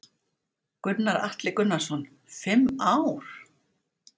Gunnar Atli Gunnarsson: Fimm ár?